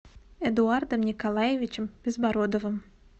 эдуардом николаевичем безбородовым